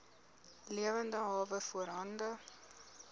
lewende hawe voorhande